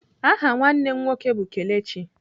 Aha nwanne m nwoke bụ Kelechi.